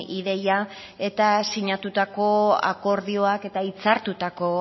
ideia eta sinatutako akordioak eta hitzartutako